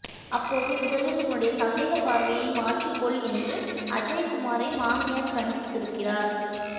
அப்போது முதலில் உன்னுடைய சந்தேகப் பார்வையை மாற்றிக்கொள் என்று அஜய்குமாரை மாமியார் கண்டித்திருக்கிறார்